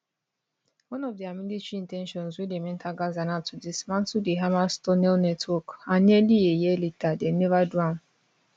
one of dia military in ten tions wen dem enter gaza na to dismantle di hamas tunnel network and nearly a year later dem neva do am